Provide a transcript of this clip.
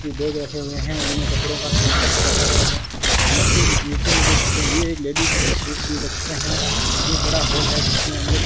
ये बैग रखे हुए हैं उनमें कपड़ों का सेटअप रखा गया है और नीचे ये नीचे में देख सकते हैं ये एक लेडिज सूट भी रखते हैं और यह एक बड़ा हॉल है जिसमें अंदर --